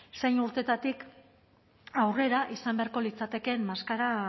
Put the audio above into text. ez zein urteetatik aurrera izan beharko litzatekeen maskara